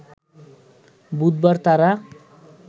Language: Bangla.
বুধবার তারা